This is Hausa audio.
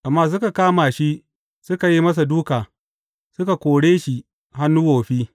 Amma suka kama shi, suka yi masa dūka, suka kore shi hannun wofi.